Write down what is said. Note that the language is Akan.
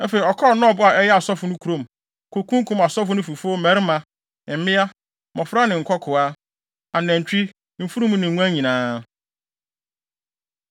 Afei, ɔkɔɔ Nob a ɛyɛ asɔfo no kurom, kokunkum asɔfo no fifo mmarima, mmea, mmofra ne nkokoaa, anantwi, mfurum ne nguan nyinaa.